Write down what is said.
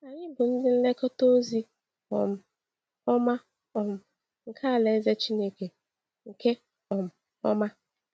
Anyị bụ ndị nlekọta ozi um ọma um nke alaeze Chineke nke um ọma.